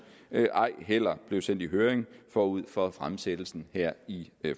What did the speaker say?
ej heller blev sendt i høring forud for fremsættelsen her i